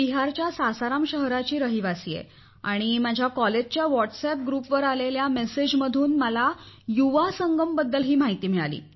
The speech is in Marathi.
मी बिहारच्या सासाराम नामक शहराची रहिवासी आहे आणि माझ्या महाविद्यालयाच्या व्हॉट्सअप ग्रुपवर आलेल्या संदेशाच्या माध्यमातून मला युवा संगम बद्दल माहिती मिळाली